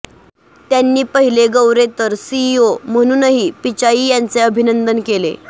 त्यांनी पहिले गौरेतर सीईओ म्हणूनही पिचाई यांचे अभिनंदन केले